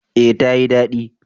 Eh ta yi dadi